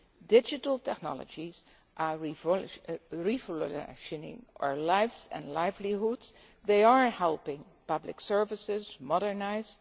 Digital technologies are revolutionising our lives and livelihoods, they are helping public services modernise.